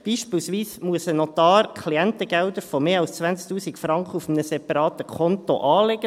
Beispielsweise muss ein Notar Klientengelder von mehr als 20 000 Franken auf einem separaten Konto anlegen.